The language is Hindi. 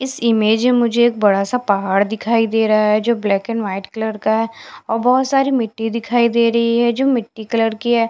इस इमेज में मुझे एक बड़ा सा पहाड़ दिखाई दे रहा है जो ब्लैक एंड व्हाइट कलर का है और बहोत सारी मिट्टी दिखाई दे रही हैं जो मिट्टी कलर की हैं।